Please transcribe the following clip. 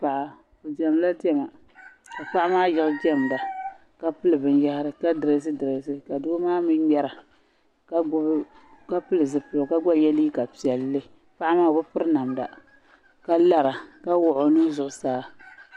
Paɣa o diɛmdila diɛmda ka paɣa maa yiɣi diɛmda ka pili binyɛhiri ka doo maa mii ŋmɛra ka pili zipiligu ka gba yɛ liiga piɛlli paɣa maa o bɛ piri namda ka lara ka wɔɣi o nuhu zuɣu saa.